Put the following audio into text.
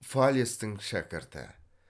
фалестің шәкірті